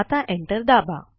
आता एंटर दाबा